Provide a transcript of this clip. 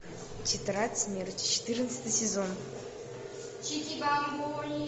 тетрадь смерти четырнадцатый сезон